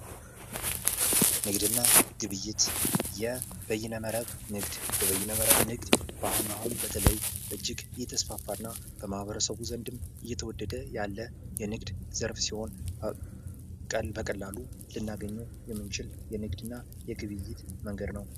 ንግድ የኢኮኖሚ እድገት ዋና አንቀሳቃሽ ሲሆን የስራ ዕድል በመፍጠርና የኑሮ ደረጃን በማሻሻል አስተዋጽኦ ያደርጋል።